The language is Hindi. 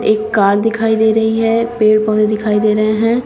एक कार दिखाई दे रही है पेड़ पौधे दिखाई दे रहे हैं।